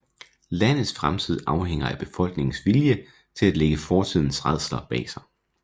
Landets fremtid afhænger af befolkningens vilje til at lægge fortidens rædsler bag sig